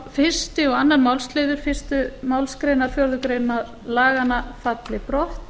fyrstu og önnur málsl fyrstu málsgrein fjórðu grein laganna falla brott